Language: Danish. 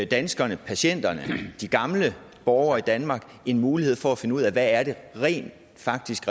danskerne patienterne og de gamle borgere i danmark en mulighed for at finde ud af hvad det rent faktisk